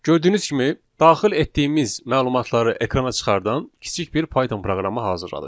Gördüyünüz kimi daxil etdiyimiz məlumatları ekrana çıxardan kiçik bir Python proqramı hazırladıq.